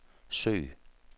søg